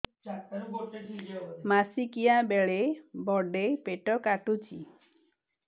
ମାସିକିଆ ବେଳେ ବଡେ ପେଟ କାଟୁଚି